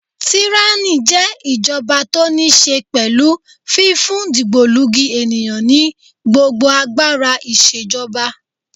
Tíránì jẹ́ ìjọba tó níí ṣe pẹ̀lú fífún dìgbòlugi ènìyàn ní gbogbo agbára ìṣèjọba.